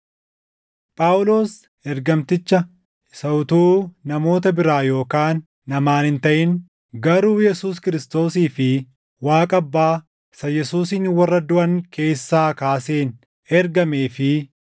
Phaawulos ergamticha isa utuu namoota biraa yookaan namaan hin taʼin garuu Yesuus Kiristoosii fi Waaqa Abbaa isa Yesuusin warra duʼan keessaa kaaseen ergamee fi